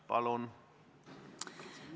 Palun!